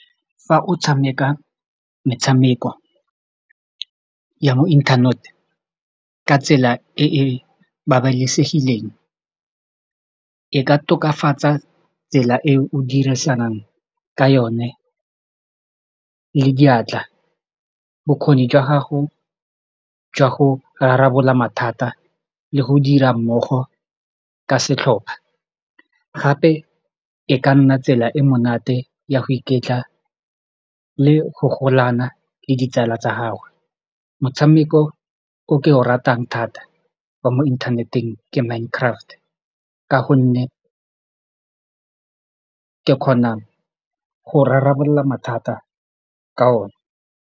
Fa o tshameka metshameko ya mo internet-e ka tsela e e babalesegileng e ka tokafatsa tsela e o dirisanang ka yone le diatla bokgoni jwa gago jwa go rarabolola mathata le go dira mmogo ka setlhopa gape e ka nna tsela e monate ya go iketla le go golana le ditsala tsa gagwe motshameko o ke o ratang thata wa mo inthaneteng ke Mind Craft ka gonne ke kgona go rarabolola mathata ka one.